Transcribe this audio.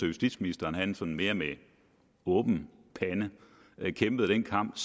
justitsministeren sådan mere med åben pande kæmpede den kamp